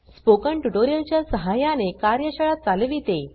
spoken tutorial च्या सहाय्याने कार्यशाळा चालविते